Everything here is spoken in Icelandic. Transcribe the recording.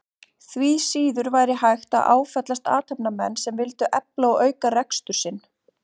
Því síður væri hægt að áfellast athafnamenn sem vildu efla og auka rekstur sinn.